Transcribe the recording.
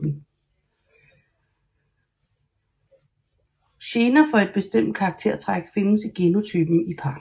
Gener for et bestemt karaktertræk findes i genotypen i par